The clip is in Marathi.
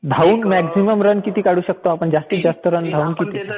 धावून मॅक्सिमम रन किती काढू शकतो आपण? जास्तीत जास्त?